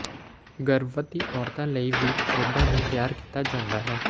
ਗਰਭਵਤੀ ਔਰਤਾਂ ਲਈ ਵੀ ਖੇਡਾਂ ਨੂੰ ਤਿਆਰ ਕੀਤਾ ਜਾਂਦਾ ਹੈ